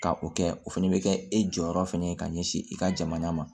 Ka o kɛ o fana bɛ kɛ e jɔyɔrɔ fana ye ka ɲɛsin i ka jamana ma